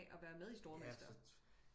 At være med i stormester